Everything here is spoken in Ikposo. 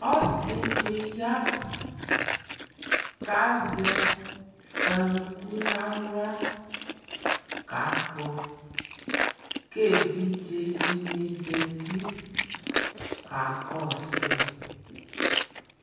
Ɔsɩ dɩ ya kʋ azɛ saŋku nʋ aɣla kakpɔ kʋ evidze dɩnɩ zati kakɔsʋ yɩ